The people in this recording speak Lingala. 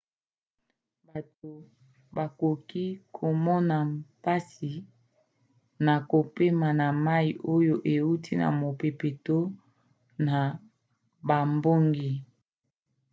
bato bakoki komona mpasi na kopema ya mai oyo euti na mopepe to na bambonge